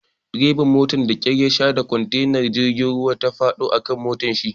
Dreban motan da kyar yasha da kontenar jirgin ruwa ta faɗo a kan motarshi.